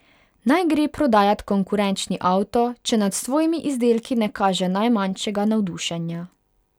Naj gre prodajat konkurenčni avto, če nad svojimi izdelki ne kaže najmanjšega navdušenja.